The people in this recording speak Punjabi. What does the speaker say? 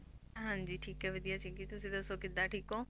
ਹਾਂਜੀ ਠੀਕ ਹੈ ਵਧੀਆ ਸੀਗੀ ਤੁਸੀਂ ਦੱਸੋ ਕਿੱਦਾਂ ਠੀਕ ਹੋ?